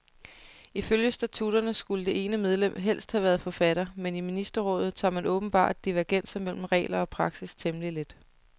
Ifølge statutterne skulle det ene medlem helst have været forfatter, men i ministerrådet tager man åbenbart divergenser mellem regler og praksis temmelig let.